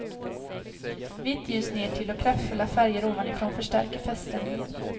Vitt ljus nertill och kraftfulla färger ovanifrån förstärker feststämningen.